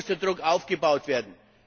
Hier muss der Druck aufgebaut werden.